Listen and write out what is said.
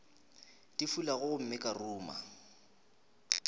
di fulago gomme ka ruma